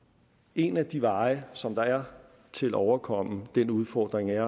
en af de veje som der er til at overkomme den udfordring er